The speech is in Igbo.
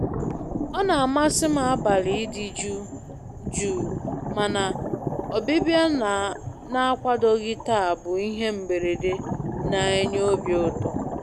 Ọ na-amasị m abalị ịdị jụụ, mana ọbịbịa na-akwadoghị taa bụ bụ ihe mberede na-enye obi ụtọ.